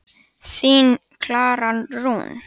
Þín, Klara Rún.